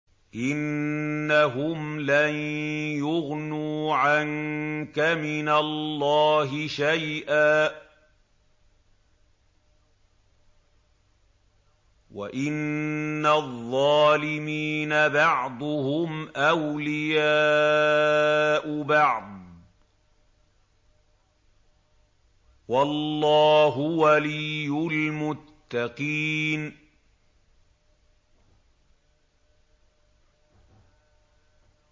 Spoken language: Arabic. إِنَّهُمْ لَن يُغْنُوا عَنكَ مِنَ اللَّهِ شَيْئًا ۚ وَإِنَّ الظَّالِمِينَ بَعْضُهُمْ أَوْلِيَاءُ بَعْضٍ ۖ وَاللَّهُ وَلِيُّ الْمُتَّقِينَ